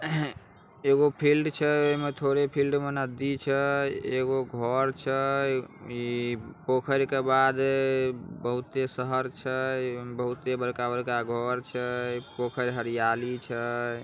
एगो फिल्ड छै। ओय में थोड़े फील्ड में नदी छै। एगो घर छै। ई पोखर के बाद ई बहूते शहर छै। ओय में बहुते बड़का-बड़का घर छै। पोखर हरियाली छै।